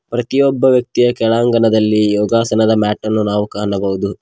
ಪ್ರತಿಯೊಬ್ಬ ವ್ಯಕ್ತಿಯ ಕೆಳಾಂಗಣದಲ್ಲಿ ಯೋಗಾಸನದ ಮ್ಯಾಟ್ ಕಾಣಬಹುದು.